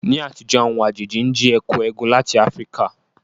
Ní àtijọ́, àwọn àjèjì ń jí ẹ̀kú égún láti ilẹ̀ Áfíríkà